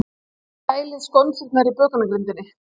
Kælið skonsurnar á bökunargrind.